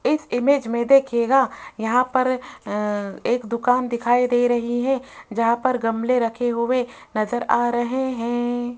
इस इमेज में देखिएगा यहां पर अह एक दुकान दिखाई दे रही है जहां पर गमले रखे हुए नज़र आ रहे है।